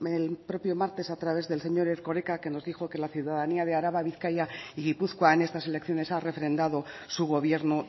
el propio martes a través del señor erkoreka que nos dijo que la ciudadanía de araba bizkaia y gipuzkoa en estas elecciones ha refrendado su gobierno